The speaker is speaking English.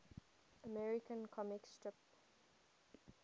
american comic strip